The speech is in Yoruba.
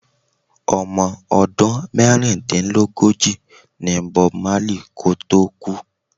Omo ọdún mẹ́rìndínlógóji ní Bob Marley kò tó kú.